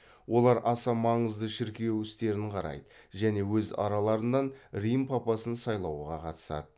олар аса маңызды шіркеу істерін қарайды және өз араларынан рим папасын сайлауға қатысады